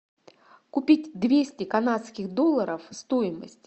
купить двести канадских долларов стоимость